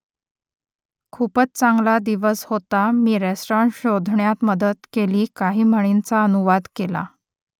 खूप चांगला दिवस होता मी रेस्टॉरंट शोधण्यात मदत केली काही म्हणींचा अनुवाद केला